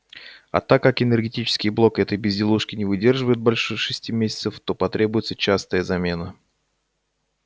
а так как энергетический блок этой безделушки не выдерживает больше шести месяцев то потребуется частая замена